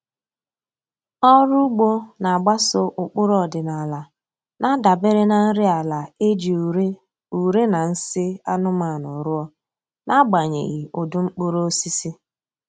Ọrụ ugbo na-agbaso ụkpụrụ ọdịnaala na-adabere na nri ala e ji ure ure na nsị anụmanụ rụọ, n’agbanyeghị ụdị mkpụrụosisi.